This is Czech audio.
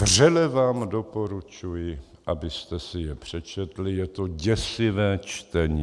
Vřele vám doporučuji, abyste si je přečetli, je to děsivé čtení.